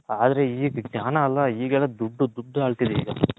ಆದ್ರೆ ಜ್ಞಾನ ಅಲ್ಲ ಇಗ್ಗ್ ದುಡ್ಡು ದುಡ್ಡು ಅಲ್ತಿದೆ ಈಗ